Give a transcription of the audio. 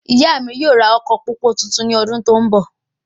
Ìyá mí yóò ra ọkọ pópó tuntun ní ọdún tó n bọ